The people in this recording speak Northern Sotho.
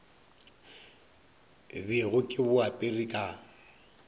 bego ke bo apere ka